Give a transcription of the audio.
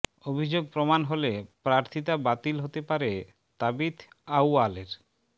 অভিযোগ প্রমাণ হলে প্রার্থিতা বাতিল হতে পারে তাবিথ আউয়ালের